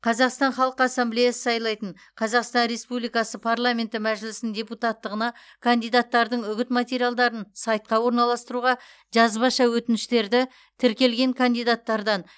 қазақстан халқы ассамблеясы сайлайтын қазақстан республикасы парламенті мәжілісінің депутаттығына кандидаттардың үгіт материалдарын сайтқа орналастыруға жазбаша өтініштерді тіркелген кандидаттардан